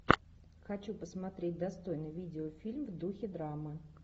хочу посмотреть достойный видеофильм в духе драмы